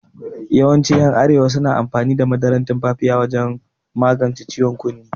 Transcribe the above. Yawancin yan arewa suna amfani da madaran tumfafiya wajan magance ciwon kunne